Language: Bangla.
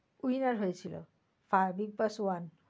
winner হয়েছিল হ্যাঁ bigboss one